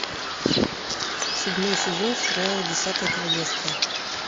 седьмой сезон сериала десятое королевство